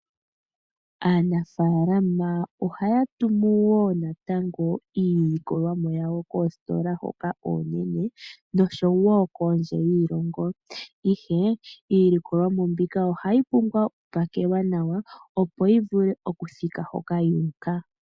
Aanafaalama ohaya tumu wo natango iilikolomwa yawo koositola hoka oonene noshonwo kondje yiilongo, ihe iilikolomwa mbika ohayi pumbwa oku pakelwa nawa opo yi vule okuthika hoka yu uka.